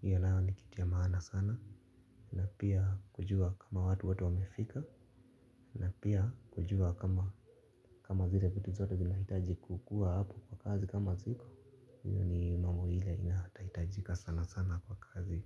hiyo nayo ni kitu ya maana sana. Na pia kujua kama watu wote wamefika. Na pia kujua kama zile vitu zote zinahitaji kukuwa hapo kwa kazi kama ziko hiyo ni mambo ile inahatahitajika sana sana kwa kazi.